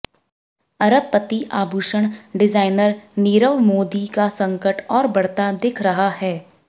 अरबपति आभूषण डिजाइनर नीरव मोदी का संकट और बढ़ता दिख रहा है